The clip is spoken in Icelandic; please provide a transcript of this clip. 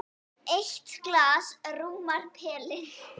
Eitt glas rúmar pelinn.